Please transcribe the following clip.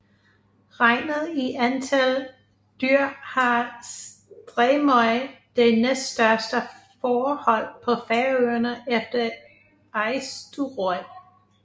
Regnet i antal dyr har Streymoy det næststørste fårehold på Færøerne efter Eysturoy